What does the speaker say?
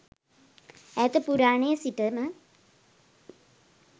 ඈත පුරාණයේ සිටම